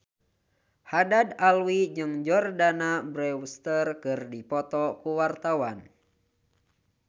Haddad Alwi jeung Jordana Brewster keur dipoto ku wartawan